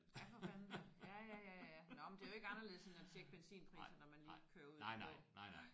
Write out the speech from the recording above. Ja for fanden da. Ja ja ja ja ja nåh men det er jo ikke anderledes end at tjekke benzinpriser når man lige kører ud på nej